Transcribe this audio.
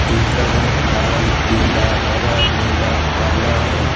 जिनका का रंग लाल पीला हरा नीला काला है।